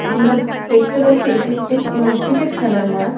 আমরা দেখতে পাচ্ছি এটি একটি আ ক্রিকেট খেলার মাঠ।